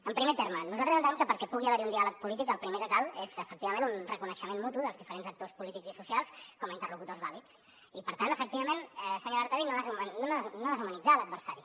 en primer terme nosaltres entenem que perquè hi pugui haver un diàleg polític el primer que cal és efectivament un reconeixement mutu dels diferents actors polítics i socials com a interlocutors vàlids i per tant efectivament senyora artadi no deshumanitzar l’adversari